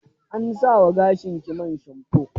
An sa wa gashinki man shamfo?